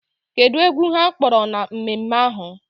Kedụ egwu ha kpọrọ na mmemme ahụ?